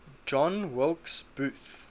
john wilkes booth